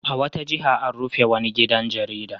A wata jiha an rufe wani gidan jarida.